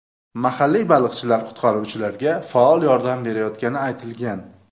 Mahalliy baliqchilar qutqaruvchilarga faol yordam berayotgani aytilgan.